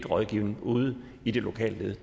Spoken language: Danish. rådgivning ude i det lokale led